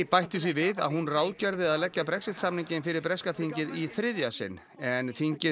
bætti því við að hún ráðgerði að leggja Brexit samninginn fyrir breska þingið í þriðja sinn en þingið